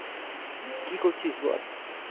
কি করছিস বল?